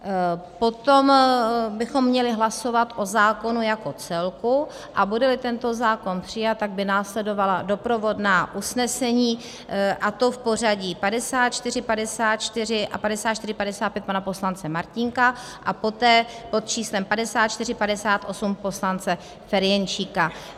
Potom bychom měli hlasovat o zákonu jako celku, a bude-li tento zákon přijat, tak by následovala doprovodná usnesení, a to v pořadí 5454 a 5455 pana poslance Martínka a poté pod číslem 5458 poslance Ferjenčíka.